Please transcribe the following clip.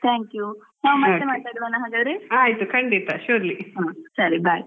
ಆಯ್ತು ಖಂಡಿತಾ surely ಹ್ಮ್.